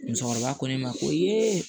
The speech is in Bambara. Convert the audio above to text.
Musokɔrɔba ko ne ma ko